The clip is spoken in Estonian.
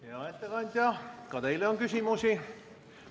Hea ettekandja, ka teile on küsimusi.